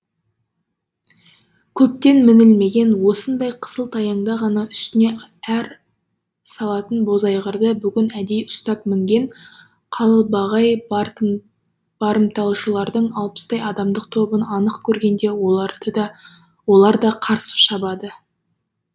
көптен мінілімеген осындай қысылтаяңда ғана үстіне ар салатын бозайғырды бүгін әдейі ұстап мінген қалбағай барымташылардың алпыстай адамдық тобын анық көргенде олар да қарсы шабады